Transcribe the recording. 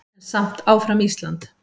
En samt áfram Ísland!